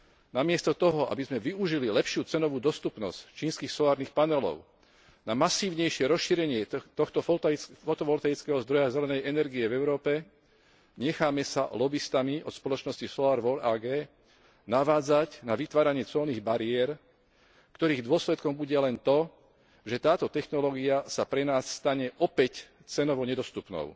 Namiesto toho, aby sme využili lepšiu cenovú dostupnosť čínskych solárnych panelov na masívnejšie rozšírenie tohto fotovolkanického zdroja zelenej energie v Európe, necháme sa lobistami od spoločnosti Solarvol AG navádzať na vytváranie colných bariér, ktorých dôsledkom bude len to, že táto technológia sa pre nás stane opäť cenovo nedostupnou.